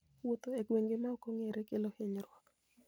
Wuotho e gwenge maok ong'ere kelo hinyruok.